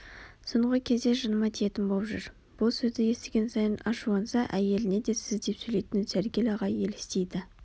соңғы кезде жыныма тиетін боп жүр бұл сөзді естіген сайын ашуланса әйеліне де сіз деп сөйлейтін сәргел ағай елестейді